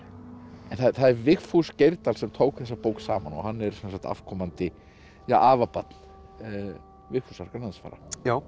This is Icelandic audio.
en það er Vigfús Geirdal sem tók þessa bók saman og hann er afkomandi afabarn Vigfúsar Grænlandsfara já